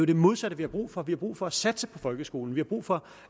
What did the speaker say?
det modsatte vi har brug for vi har brug for at satse på folkeskolen vi har brug for